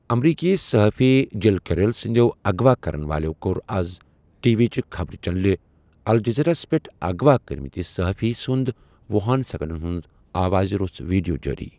امریٖکی صحافی Jill Carroll سٕنٛدیو اغوا کَرن والیٚو کوٚر اَز ٹی وی چہِ خبرِ چنٛلہِ الجٔزیٖراہس پیٚٹھ اغوا کٔرِ مٕتِس صحٲفی سُنٛد وٗہن سیٚکنٛڈن ہُنٛد آوازِ روٚس ویٖڈِیو جٲری۔